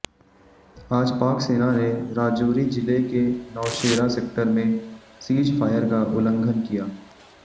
आज पाक सेना ने राजोरी जिले के नौशेरा सेक्टर में सीजफायर का उल्लंघन किया